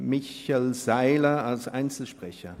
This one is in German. Michel Seiler als Einzelsprecher.